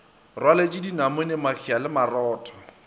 rwaleletše dinamune mahea le marotho